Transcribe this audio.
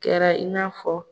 Kɛra i n'a fɔ